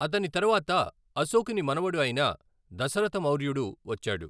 అతని తర్వాత అశోకుని మనవడు అయిన దశరథ మౌర్యుడు వచ్చాడు.